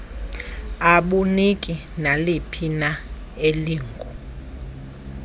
abuniki naliphina ilingu